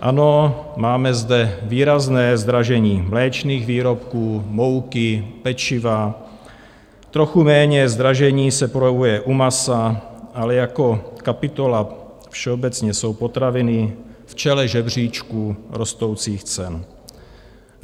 Ano, máme zde výrazné zdražení mléčných výrobků, mouky, pečiva, trochu méně zdražení se projevuje u masa, ale jako kapitola všeobecně jsou potraviny v čele žebříčku rostoucích cen.